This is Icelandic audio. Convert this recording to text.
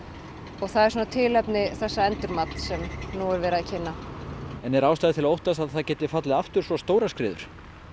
og það er tilefni þessa endurmats sem nú er verið að kynna en er ástæða til að óttast að það geti fallið aftur svo stórar skriður